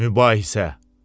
Mübahisə.